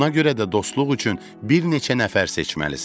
Buna görə də dostluq üçün bir neçə nəfər seçməlisən.